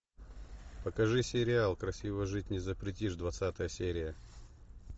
покажи сериал красиво жить не запретишь двадцатая серия